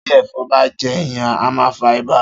Tí èfon bá je èèyàn a ma fa ibà